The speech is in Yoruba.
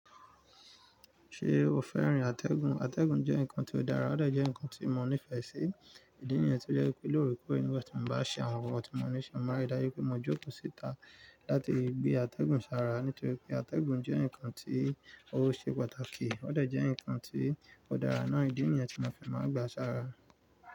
Ṣé o fẹ́ràn àtẹ̀gùn? Àtẹ̀gùn jẹ́ nǹkan tó dára, ó dà jẹ́ nǹkan tí mo nífẹ̀ẹ́ sí. Ìdí niyẹn to jẹ́ pé lórekore nígbàtí mo bá ṣe àwọn ohun tí mo ní ṣe, máa ń dáju pé mo maa n jókòó síta láti gbé àtẹ̀gùn sára nítorí pé àtẹ̀gùn jẹ́ nǹkan tí ó ṣe pàtàkì, ó dẹ jẹ́ nǹkan tí ó dára náà. Ìdí niyẹn tí mo fi máa n gbà sára.